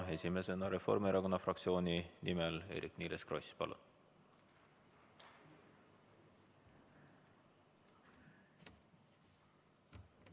Esimesena Reformierakonna fraktsiooni nimel Eerik-Niiles Kross, palun!